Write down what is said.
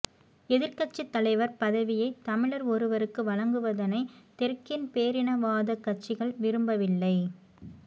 எதிர்க்கட்சித் தலைவர் பதவியை தமிழர் ஒருவருக்கு வழங்குவதனை தெற்கின் பேரினவாதக் கட்சிகள் விரும்பவில்லை